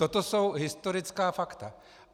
Toto jsou historická fakta.